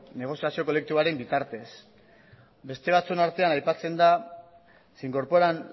negozioazio kolektiboaren bitartez beste batzuen artean aipatzen da se incorporan